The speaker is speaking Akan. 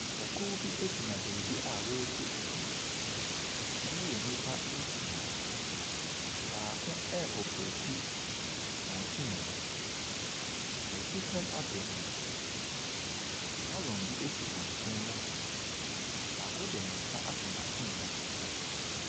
Nnipakuo bi gyina beebi a wɔretu fam. Wɔyɛ nnipa nsia, baako ɛre opreeti machine no. wɔretu fam apɛ nsu, gallon bi si wɔn nkyɛn mu hɔ. Baako de ne nsa ato machine ne so.